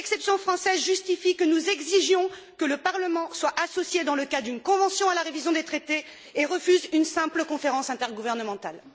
Cette exception française justifie que nous exigions que le Parlement soit associé, dans le cas d'une convention à la révision des traités, et refuse une simple conférence intergouvernementale.